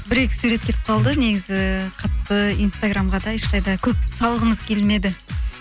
бір екі сурет кетіп қалды негізі қатты инстаграмға да ешқайда көп салғымыз келмеді